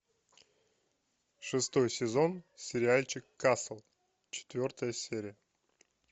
шестой сезон сериальчик касл четвертая серия